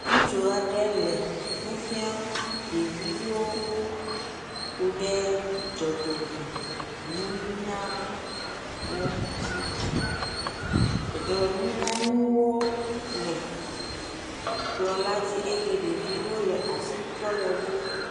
ŋutsu aɖe le nufiam ɖeviwo kuɖe dzɔdzɔme nunya ŋuti dzɔdzɔme nunya ŋuwo le kplɔ̃ la dzi eye ɖeviwo le asitrɔ le woŋu